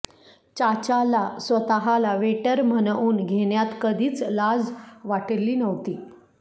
चाचाला स्वतःला वेटर म्हणवून घेण्यात कधीच लाज वाटली नव्हती